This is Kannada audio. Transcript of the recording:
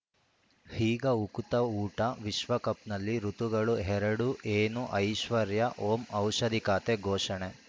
ಈಗ ಉಕುತ ಊಟ ವಿಶ್ವಕಪ್‌ನಲ್ಲಿ ಋತುಗಳು ಎರಡು ಏನು ಐಶ್ವರ್ಯಾ ಓಂ ಔಷಧಿ ಖಾತೆ ಘೋಷಣೆ